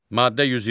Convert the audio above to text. Maddə 120.